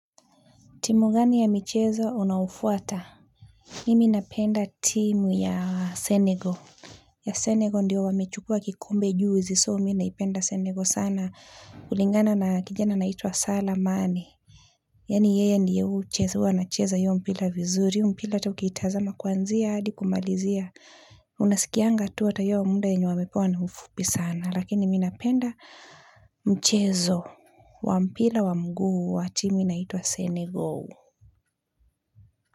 Timu gani ya michezo unaofuata? Mimi napenda timu ya Senegal. Ya Senegal ndio wamechukua kikombe juzi so mimina ipenda Senegal sana. Kulingana na kijana anaitwa Salah Mane yaani yeye ndiyo hua anacheza hiyo mpira vizuri hiyo mpira ataukiitazama kuanzia hadikumalizia. Unasikianga tu hatahiyo muda yenye wamepewa ni mfupi sana. Lakini miminapenda mchezo wa mpira wa mguu wa timu inaitwa Senegal.